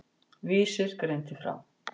Vísir greindi frá.